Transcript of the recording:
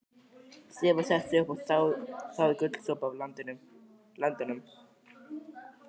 Stefán settist upp og þáði gúlsopa af landanum.